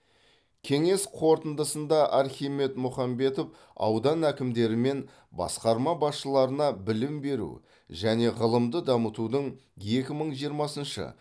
кеңес қорытындысында архимед мұхамбетов аудан әкімдері мен басқарма басшыларына білім беру және ғылымды дамытудың екі мың жиырмасыншы